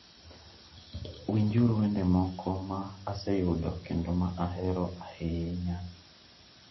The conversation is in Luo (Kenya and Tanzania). Winjuru wende moko ma aseyudo kendo ma ahero ahinya.